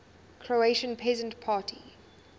croatian peasant party